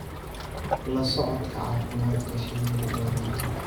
La socodka caafimaadka shinnidu waa muhiim.